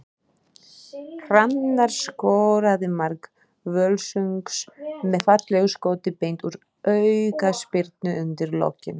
Hrannar skoraði mark Völsungs með fallegu skoti beint úr aukaspyrnu undir lokin.